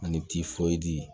Ani